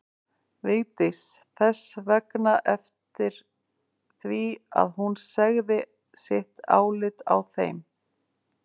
Vigdís þess vegna eftir því að hún segði sitt álit á þeim.